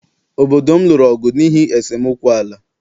Obodo m lụrụ ọgụ n’ihi esemokwu ala